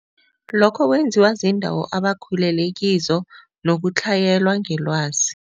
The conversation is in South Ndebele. Lokho kwenziwa ziindawo abakhulele kizo nokutlhayelwa ngelwazi.